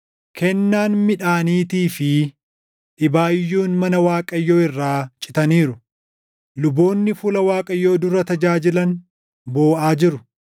Kennaan midhaaniitii fi dhibaayyuun mana Waaqayyoo irraa citaniiru. Luboonni fuula Waaqayyoo dura tajaajilan booʼaa jiru.